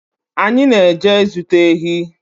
Anyị na-eje zụta ehi